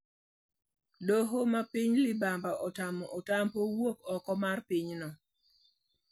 Doho mapiny libamba otamo Otampo wuok oko mar pinyno.